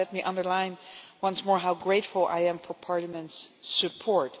Let me underline once more how grateful I am for Parliament's support.